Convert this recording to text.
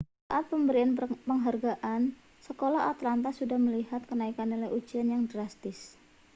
saat pemberian penghargaan sekolah atlanta sudah melihat kenaikan nilai ujian yang drastis